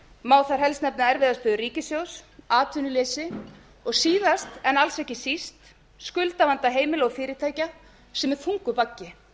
má þar helst nefna erfiða stöðu ríkissjóðs atvinnuleysi og síðast en alls ekki síst skuldavanda heimila og fyrirtækja sem er þungur baggi